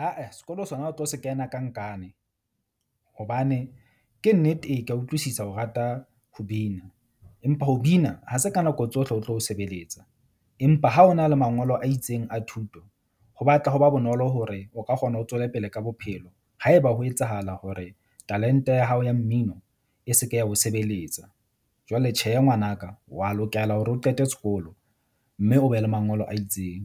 Ae sekolo sona o tlo se kena ka nkane hobane ke nnete ee, ke a utlwisisa o rata ho bina, empa ho bina ha se ka nako tsohle o tlo sebeletsa. Empa ha o na le mangolo a itseng a thuto ho batla ho ba bonolo hore o ka kgona ho tswele pele ka bophelo. Haeba ho etsahala hore talent-e ya hao ya mmino e se ke ya ho sebeletsa. Jwale tjhe, ngwanaka wa lokela hore o qete sekolo mme o be le mangolo a itseng.